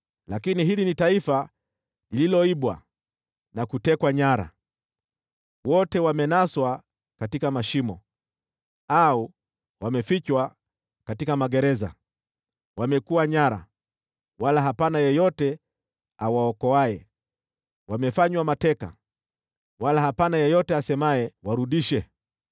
Lakini hili ni taifa lililoibwa na kutekwa nyara, wote wamenaswa katika mashimo, au wamefichwa katika magereza. Wamekuwa nyara, wala hapana yeyote awaokoaye. Wamefanywa mateka, wala hapana yeyote asemaye, “Warudishe.”